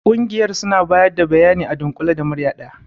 Ƙungiyar suna bayar da bayani a dunkule da murya daya.